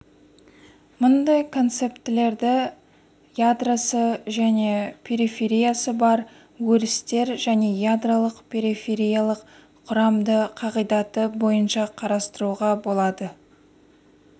мұндай концептілерді ядросы және перифериясы бар өрістер және ядролық перифериялық құрамды қағидаты бойынша қарастыруға болады